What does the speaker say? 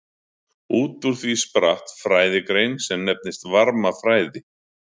Út úr því spratt fræðigrein sem nefnist varmafræði.